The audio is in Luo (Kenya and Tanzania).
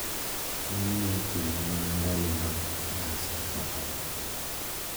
Ng`enyne itime mana ndalo mag nyasi makama.